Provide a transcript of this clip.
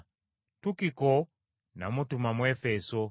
Tukiko n’amutuma mu Efeso.